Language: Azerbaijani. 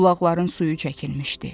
Bulaqların suyu çəkilmişdi.